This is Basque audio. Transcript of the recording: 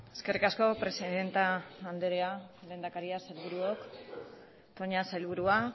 eskerrik asko presidente andrea lehendakaria sailburuok toña sailburua